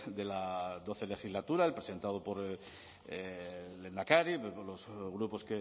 de la doce legislatura presentado por el lehendakari con los grupos